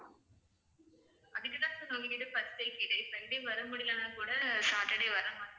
அதுக்கு தான் sir உங்ககிட்ட first ஏ கேட்டேன். sunday வர முடியலன்னா கூட saturday வர மாதிரி.